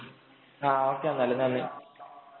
Okay എന്നാല്. നന്ദി.